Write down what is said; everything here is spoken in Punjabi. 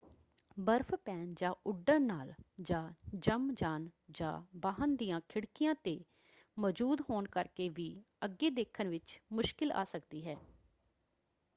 ਬਰਫ਼ ਪੈਣ ਜਾਂ ਉੱਡਣ ਨਾਲ ਜਾਂ ਜੰਮ ਜਾਣ ਜਾਂ ਵਾਹਨ ਦੀਆਂ ਖਿੜਕੀਆਂ 'ਤੇ ਮੌਜੂਦ ਹੋਣ ਕਰਕੇ ਵੀ ਅੱਗੇ ਦੇਖਣ ਵਿਚ ਮੁਸ਼ਕਲ ਆ ਸਕਦੀ ਹੈ।